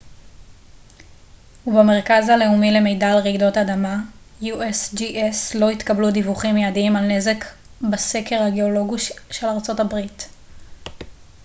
לא התקבלו דיווחים מידיים על נזק בסקר הגאולוגי של ארצות הברית usgs ובמרכז הלאומי למידע על רעידות אדמה